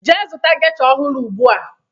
Jee zụta gesha ọhụrụ ugbua!